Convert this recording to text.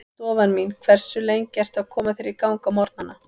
Stofan mín Hversu lengi ertu að koma þér í gang á morgnanna?